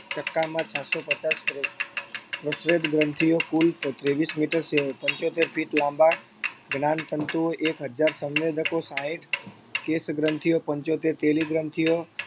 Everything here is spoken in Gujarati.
ચક્કામાં છસ્સો પચાસ કરોડ પ્રસ્વેદગ્રંથિઓ, કુલ ત્રેવીસ meter પંચોતેર feet કુલ લાંબા જ્ઞાનતંતુઓ, એક હજાર સંવેદકો, સાઈઠ કેશગ્રંથિઓ પંચોત્તેર તેલી ગ્રંથિઓ